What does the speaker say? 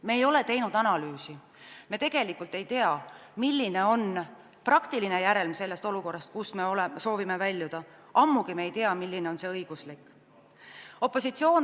Me ei ole teinud analüüsi, me tegelikult ei tea, milline on praktiline järelm sellest olukorrast, kust me soovime väljuda, ammugi ei tea me seda, milline on õiguslik järelm.